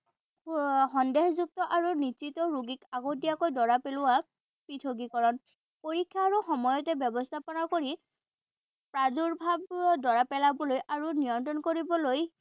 সন্দেহযুক্ত আৰু ৰোগীক আগতীয়াকৈ ধৰা পেলোৱা পৃথকীকৰণ। পৰীক্ষা আৰু সময়তে ব্যৱস্থাপনা কৰি প্ৰাদুৰ্ভাৱ ধৰা পেলাবলৈ আৰু নিয়ন্ত্ৰণ কৰিবলৈ